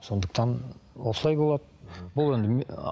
сондықтан осылай болады бұл енді